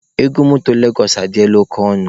Ego motor Legos adịla oke ọnụ.